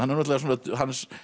hans